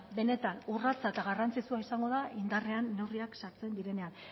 benetan urratsa eta garrantzizkoa izango da indarrean neurriak sartzen direnean